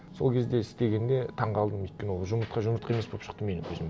сол кезде істегенде таңғалдым өйткені ол жұмыртқа жұмыртқа емес болып шықты менің көзіме